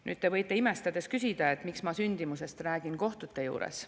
Nüüd te võite imestades küsida, et miks ma sündimusest räägin kohtute juures.